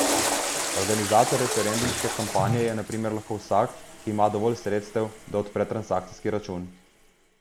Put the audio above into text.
Organizator referendumske kampanje je na primer lahko vsak, ki ima dovolj sredstev, da odpre transakcijski račun.